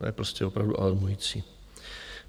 To je prostě opravdu alarmující.